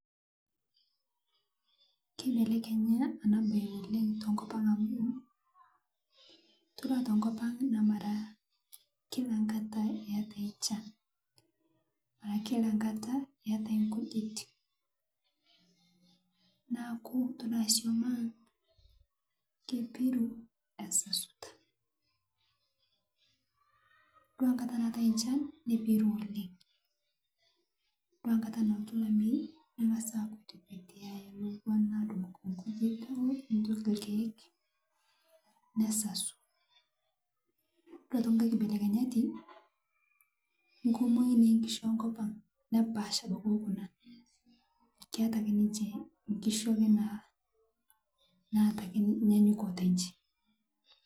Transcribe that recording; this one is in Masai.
Kibelekenya ene mbae tenkop oleng amu mee kila enkata etae enchan kila enkata etae nkijit neeku ore sum ang naa kepiru egira asasu ore enkata nashaita naa kepiru oleng ore enkata naatai olamei nengas asasu ore enkae kibelekenyati naa kumok naa keetae ake naata nyanyukoto oyieu eji